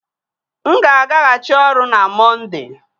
M ga agaghachi ọrụ na Mọnde